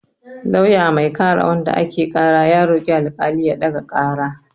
Lauya mai kare wanda ake ƙara ya roƙi alƙali ya ɗaga ƙara.